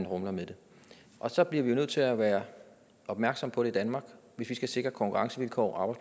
rumler med det og så bliver vi nødt til at være opmærksom på det i danmark hvis vi skal sikre konkurrencevilkår og